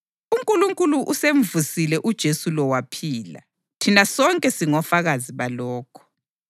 UNkulunkulu usemvusile uJesu lo waphila, thina sonke singofakazi balokho.